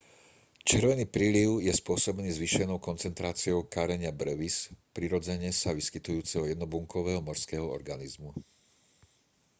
červený príliv je spôsobený zvýšenou koncentráciou karenia brevis prirodzene sa vyskytujúceho jednobunkového morského organizmu